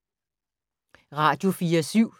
Radio24syv